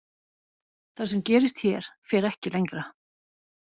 Það sem gerist hér fer ekki lengra.